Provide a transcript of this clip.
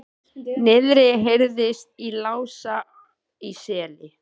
Niðri heyrðist í Lása í Seli.